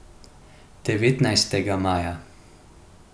Devetnajstega maja.